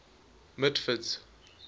mitford's